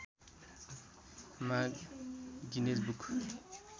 मा Guinness book